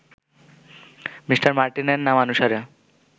Me. মার্টিনের নামানুসারে